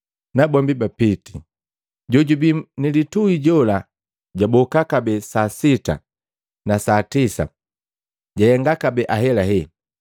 Nabombi bapiti. Jojubi nilitui jola jwaboka kabee saa sita na saa tisa, jahenga kabee ahelahela.